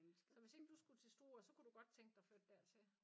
Så hvis ikke du skulle til Struer så kunne du godt tænke dig at flytte dertil?